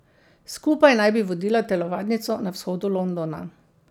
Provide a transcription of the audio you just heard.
Skupaj naj bi vodila telovadnico na vzhodu Londona.